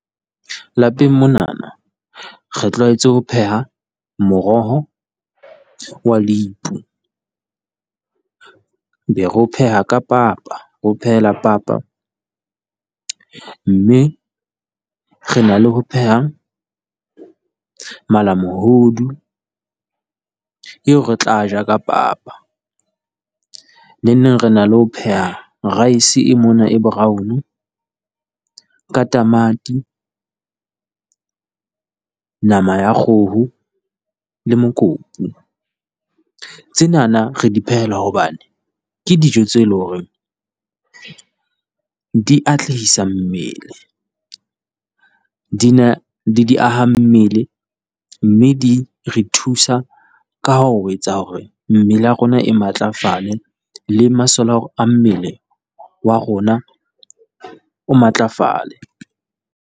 Lapeng monana re tlwaetse ho pheha moroho wa lepu, be re o pheha ka papa, re o phehela papa, mme re na le ho pheha malamohodu eo re tla a ja ka papa, neneng re na le ho pheha rice e mona e brown ka tamati, nama ya kgoho le mokopu. Tsenana re di phehela hobane ke dijo tseo e leng hore di atlehisa mmele, di na le diahammele, mme di re thusa ka ho etsa hore mmele ya rona e matlafale, le masole a mmele wa rona o matlafale.